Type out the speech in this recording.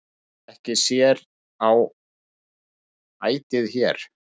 Ekki sér á ætið hér,